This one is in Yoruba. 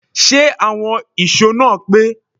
Ṣé àwọn ìṣó náà pé?